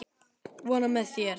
Vona með sér.